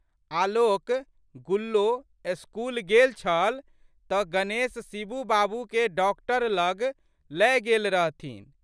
आलोकगुल्लो school गेल छल तऽ गणेश शिबू बाबूकेँ डॉक्टर लग लए गेल रहथिन।